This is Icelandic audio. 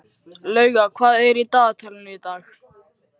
Lauga, hvað er í dagatalinu í dag?